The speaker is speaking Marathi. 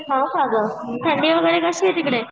हो का गं थंडी वगैरे कशी आहे तिकडे?